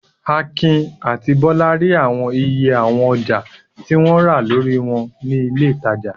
Akin àti Bọ́lá rí àwọn iye àwọn ọjà tí wọ́n rà lórí wọn ní ilé-ìtajà.